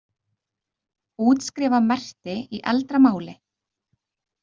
Útskrifa merkti í eldra máli?